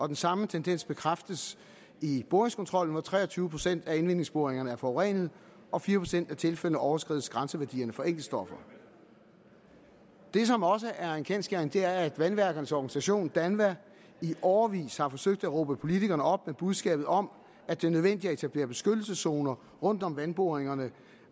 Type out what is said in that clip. den samme tendens bekræftes i boringskontrollen hvor tre og tyve procent af indvindingsboringerne er forurenet og fire procent af tilfældene overskrider grænseværdierne for enkeltstoffer det som også er en kendsgerning er at vandværkernes organisation danva i årevis har forsøgt at råbe politikerne op med budskabet om at det er nødvendigt at etablere beskyttelseszoner rundt om vandboringerne